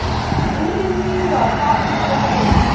boromiwa fa o dira kopo